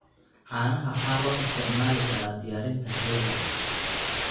Caanaha waxaa loo isticmaali karaa diyaarinta keega.